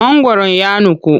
Mangwaron ya nuku.